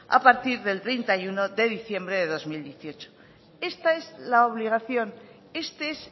a partir del treinta y uno de diciembre del dos mil dieciocho esta es la obligación este es